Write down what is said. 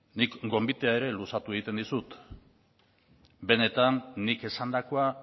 nik gonbitea ere luzatu egiten dizut benetan nik esandakoa